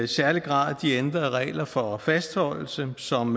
særlig grad de ændrede regler for fastholdelse som